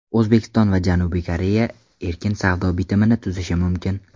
O‘zbekiston va Janubiy Koreya erkin savdo bitimini tuzishi mumkin.